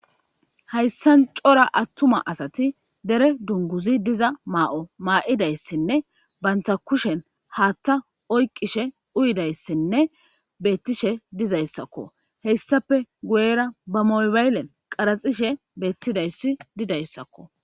hayssan cora attuma asati dere dunguzi diza maa7o maa7idayssinne banta kushen haatta oyqishe uyidayssinne beettishe dizayssakko hessape guyera ba mobayllen qaraxishe beettidayssi didayssakko